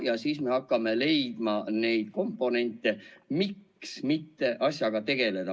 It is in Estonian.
Ja siis hakkame leidma neid komponente, miks mitte asjaga tegeleda.